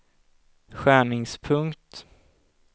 skärningspunkt